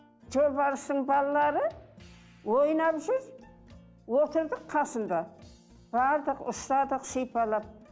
жолбарыстың балалары ойнап жүр отырдық қасында бардық ұстадық сипалап